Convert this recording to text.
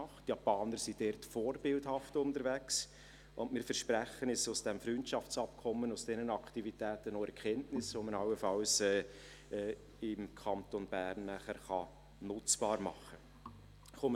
Die Japaner sind diesbezüglich vorbildhaft unterwegs, und wir versprechen uns aus diesem Freundschaftsabkommen und aus diesen Aktivitäten auch Erkenntnisse, die man nachher im Kanton Bern allenfalls nutzbar machen kann.